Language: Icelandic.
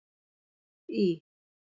Í